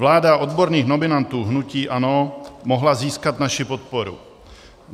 Vláda odborných nominantů hnutí ANO mohla získat naši podporu.